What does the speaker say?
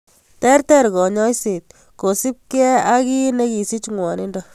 Ter ter kanyoiset kosupkei ak kii ne kisich ngwonindo.